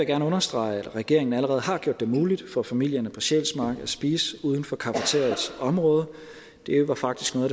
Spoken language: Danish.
gerne understrege at regeringen allerede har gjort det muligt for familierne på sjælsmark at spise uden for cafeteriaets område det var faktisk noget